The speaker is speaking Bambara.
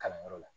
Kalanyɔrɔ la